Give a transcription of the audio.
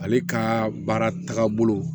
Ale ka baara tagabolo